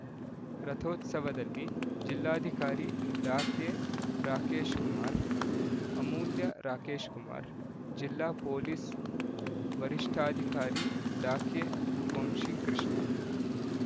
ರಥೋತ್ಸವದಲ್ಲಿ ಜಿಲ್ಲಾಧಿಕಾರಿ ಡಾ ಕೆ ರಾಕೇಶ್‌ಕುಮಾರ್ ಅಮೂಲ್ಯ ರಾಕೇಶ್‌ಕುಮಾರ್ ಜಿಲ್ಲಾ ಪೊಲೀಸ್ ವರಿಷ್ಠಾಧಿಕಾರಿ ಡಾ ಕೆ ವಂಶಿಕೃಷ್ಣ